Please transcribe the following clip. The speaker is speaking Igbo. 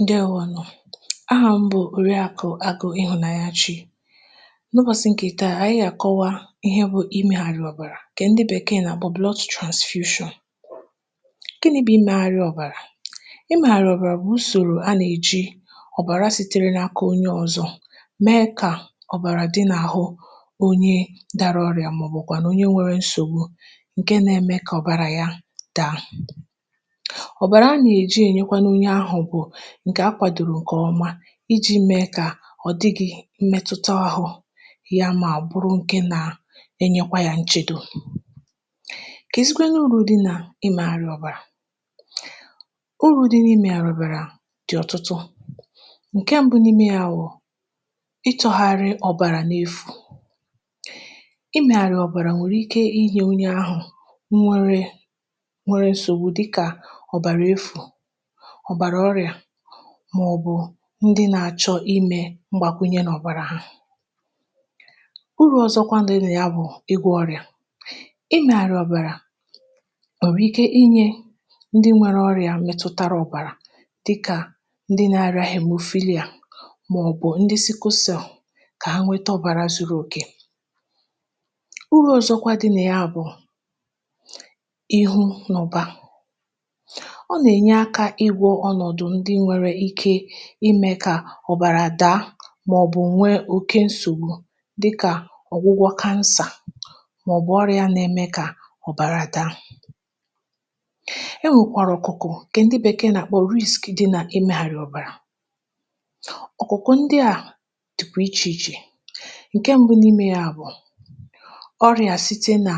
Ǹdewȯ ȯnù ahà mbụ, ùrịa àkụ̀ àgụ, ịhụ̀nanyachi... Nụbọsị, ǹkè tire, ànyị gà-àkọwa ihe bụ imėgharị ọ̀bàrà, kà ǹdị bèkee nà àgbọ̀ blood transfusion. Ǹkẹ̀ nà ebe imėgharị ọ̀bàrà. Imėgharị ọ̀bàrà bụ usòrò a nà-èji ọ̀bàra sitere n’aka um onye ọ̀zọ mee, kà ọ̀bàrà dị nà-ahụ onye dàrà ọrịa, màọbụ̀kwànụ̀ onye nwėrė nsògbụ̀. um Ǹkẹ̀ nà-eme, kà ọ̀bàrà ya daa. Ǹkè a kwàdòrò ǹkè ọma iji̇ mee kà ọ̀ dịghị̇ mmetuta ọhụ yà, mà bụrụ ǹkè na-enyekwa yȧ nchedo. Kà èziga n’ụlọ̀ dị nà imėgharị ọ̀bàrà... Ụrọ̇ dị n’imė yà ọ̀bàrà dị̀ ọ̀tụtụ. Ǹkẹ̀ mbụ n’ime ya wụ̀ ịtọ̇gharị ọ̀bàrà n’efù. Imėgharị ọ̀bàrà nwèrè ike inye onye ahụ̀ nwere nsògbu, dị kà ọ̀bàrà efù, màọbụ̇ ndị nȧ-ȧchọ̇ imė mgbàkwunye n’ọ̀bàrà ha. Uru ọ̀zọkwa dị̇nẹ̀ ya bụ̀ ịgwọ̇ ọrịa. Imė àhụ ọ̀bàrà nwèrè ike inye ndị nwere ọrịa mẹtụtara ọ̀bàrà, dịkà ndị nȧ-ȧrịȧ hègbè ofili a, màọbụ̇ ndị si kwụsị̇ọ̀, kà ha nwẹtọ ọ̀bàrà zuru ogè um Uru ọ̀zọkwa dịȧ ya bụ̀ ịhụ̇ n’ọba ime kà ọ̀bàrà dàa, màọbụ̇ nwee oke nsògbu, dịkà ọ̀gwụgwọ cancer, màọbụ̇ ọrịa nà-eme, kà ọ̀bàrà dàa. E nwèkwàrà ọ̀kụkụ, kà ndị bèkee nà-àkpọ riski dị nà emėghàrị̀ ọ̀bàrà ọ̀kụkụ. Ndị à dịkwa ichè ichè. Ǹke mbụ nà imė yȧ bụ̀ ọrịà site nà